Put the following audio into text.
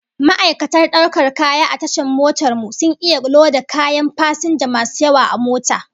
Ma'aikatan daukar kaya a tashan motar mu sun iya loda kayan fasinja masu yawa a mota